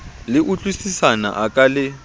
le utlwisisana a ka le